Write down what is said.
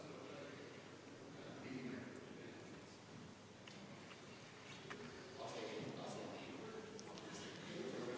Mäletate, selleks, et eelnõu oleks vastu võetud, oleks pidanud selle poolt hääletama vähemalt 51 Riigikogu liiget.